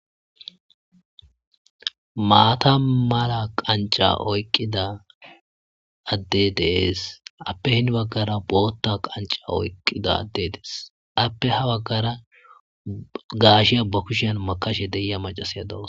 maata mala qanc'a oyqqida adde de'es appe hin baggara bootta qanca oyqqida adde dees appe ha baggara gaasheya ba kushan makashe deya macasiya doos.